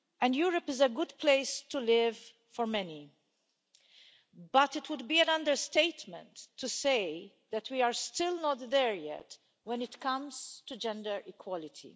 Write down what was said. Europe is a good place to live for many, but it would be an understatement to say that we are still not there yet when it comes to gender equality.